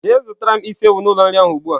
Jee zutara m isi ewu n'ulo nri ahu ugbua!.